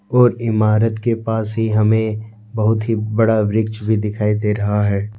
और इमारत के पास ही हमें बहुत ही बड़ा वृक्ष भी दिखाई दे रहा है।